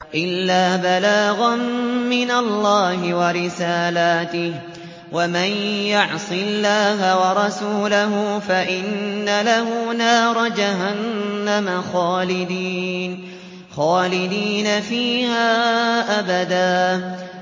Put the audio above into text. إِلَّا بَلَاغًا مِّنَ اللَّهِ وَرِسَالَاتِهِ ۚ وَمَن يَعْصِ اللَّهَ وَرَسُولَهُ فَإِنَّ لَهُ نَارَ جَهَنَّمَ خَالِدِينَ فِيهَا أَبَدًا